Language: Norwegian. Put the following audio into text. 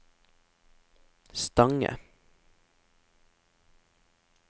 Stange